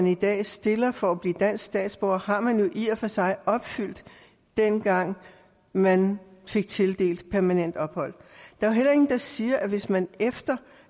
i dag stilles for at blive dansk statsborger har man jo i og for sig opfyldt dengang man fik tildelt permanent ophold der er heller ingen der siger at man hvis man efter